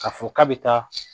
Ka fɔ k'a bi taa